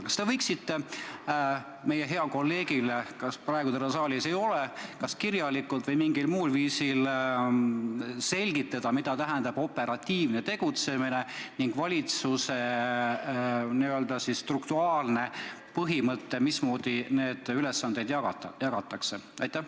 Kas te võiksite meie heale kolleegile, keda praegu saalis ei ole, kas kirjalikult või mingil muul viisil selgitada, mida tähendab operatiivne tegutsemine ning valitsuse n-ö strukturaalne töökorraldus, mismoodi neid ülesandeid jagatakse?